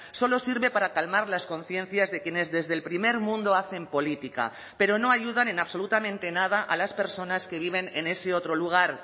solo sirve para calmar las conciencias de quienes desde el primer mundo hacen política pero no ayudan en absolutamente nada a las personas que viven en ese otro lugar